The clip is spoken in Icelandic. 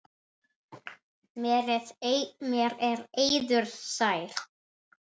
Mér er eiður sær.